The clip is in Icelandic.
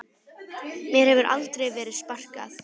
Mér hefur aldrei verið sparkað